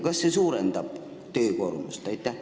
Kas see suurendab ametnike töökoormust?